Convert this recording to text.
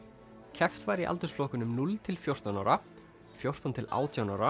keppt var í aldursflokkum núll til fjórtán ára fjórtán til átján ára